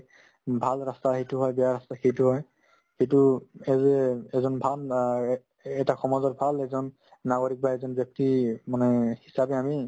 উম, ভাল ৰাস্তা সেইটো হয় বেয়া ৰাস্তা সেইটো হয় কিন্তু এইযে এজন অ এটা সমাজৰ ভাল এজন নাগৰিক বা এজন ব্যক্তি মানে হিচাবে আমি